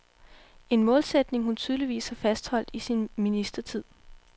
En målsætning hun tydeligvis har fastholdt i sin ministertid.